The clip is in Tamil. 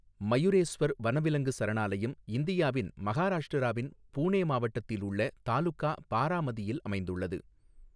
மயுரேஸ்வர் வனவிலங்கு சரணாலயம் இந்தியாவின் மகாராஷ்டிராவின் புனே மாவட்டத்தில் உள்ள தாலுகா பாராமதியில் அமைந்துள்ளது.